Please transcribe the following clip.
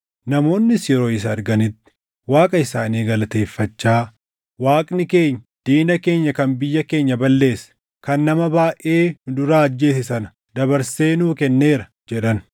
Namoonnis yeroo isa arganitti Waaqa isaanii galateeffachaa, “Waaqni keenya, diina keenya kan biyya keenya balleesse, kan nama baayʼee nu duraa ajjeese sana dabarsee nuu kenneera” jedhan.